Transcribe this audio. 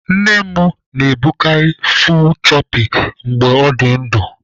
Nne m na-ebukarị 'full choppy" mgbe ọ dị ndu